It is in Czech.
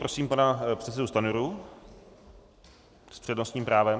Prosím pana předsedu Stanjuru s přednostním právem.